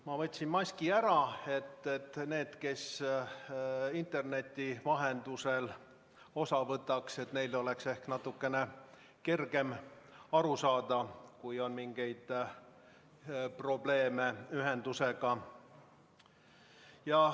Ma võtsin maski ära, et neil, kes interneti vahendusel osa võtavad, oleks ehk natukene kergem aru saada, kui on mingeid probleeme ühendusega.